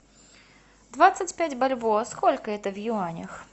двадцать пять бальбоа сколько это в юанях